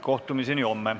Kohtumiseni homme.